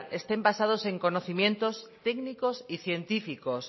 estén basados en conocimientos técnicos y científicos